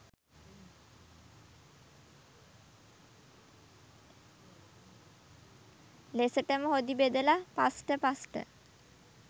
ලෙසටම හොඳි බෙදලා පස්ට පස්ට !